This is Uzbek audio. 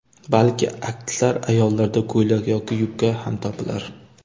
Balki, aksar ayollarda ko‘ylak yoki yubka ham topilar.